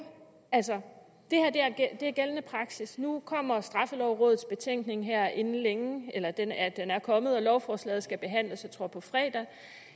altså gældende praksis nu kommer straffelovrådets betænkning her inden længe eller den er den er kommet og lovforslaget skal behandles jeg tror på fredag